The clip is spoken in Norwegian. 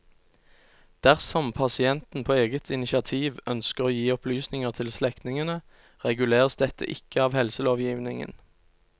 Dersom pasienten på eget initiativ ønsker å gi opplysninger til slektningene, reguleres dette ikke av helselovgivningen.